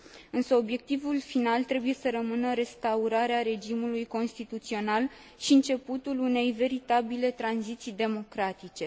Însă obiectivul final trebuie să rămână restaurarea regimului constituțional și începutul unei veritabile tranziții democratice.